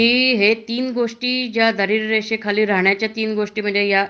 की तीन गोष्टी ज्या दारिद्रय रेषेखाली राहण्याच्या तीन गोष्टी म्हणजे